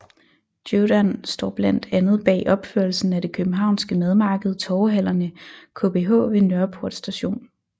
Jeudan står blandt andet bag opførelsen af det københavnske madmarked TorvehallerneKBH ved Nørreport Station